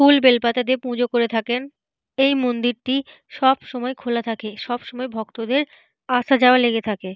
ফুল বেলপাতা দিয়ে পূজা করে থাকেন। এই মন্দিরটি সব সময় খোলা থাকে। সব সময় ভক্তদের আসা যাওয়া লেগে থাকে।